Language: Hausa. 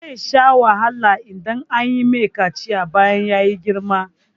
Zai sha wahala idan an mai kaciya bayan ya girma.